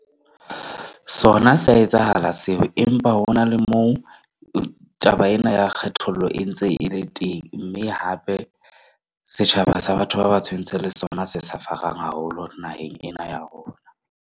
Sona sa etsahala seo, empa ho na le moo taba ena ya kgethollo e ntse e le teng, mme hape setjhaba sa batho ba batsho e ntse le sona se suffer-ang haholo naheng ena ya rona.